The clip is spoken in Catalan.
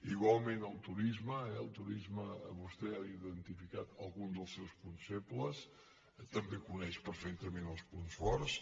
igualment el turisme eh el turisme vostè ha identifi·cat algun dels seus punts febles també en coneix per·fectament els punts forts